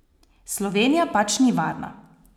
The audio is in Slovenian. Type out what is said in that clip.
Slovenija pač ni varna.